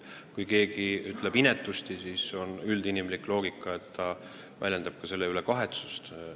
Kui keegi ütleb inetusti, siis on üldinimlik järeldus, et ta väljendab selle pärast kahetsust.